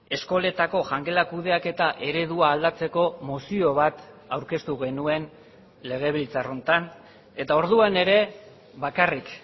eskoletako jangela kudeaketa eredua aldatzeko mozio bat aurkeztu genuen legebiltzar honetan eta orduan ere bakarrik